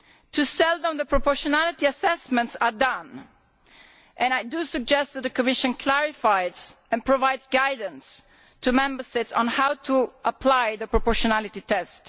Too seldom are proportionality assessments carried out and I do suggest that the Commission clarifies and provides guidance to Member States on how to apply the proportionality test.